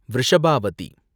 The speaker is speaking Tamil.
விருஷபாவதி